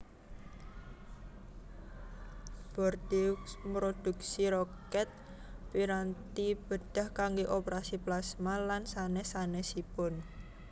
Bordeaux mrodhuksi Rokèt piranti bedah kanggé opérasi plasma lan sanès sanèsipun